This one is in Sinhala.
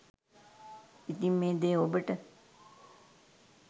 ඉතින් මේ දෙය ඔබට